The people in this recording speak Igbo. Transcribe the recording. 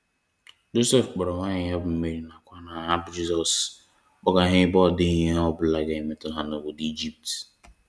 Josef kpọrọ nwanyi ya bụ Mary na kwa nwa ha bụ Jizọs kpọga ha ebe ọ dighi ihe ọ bụla ga emetu ha n'obodo ijipt.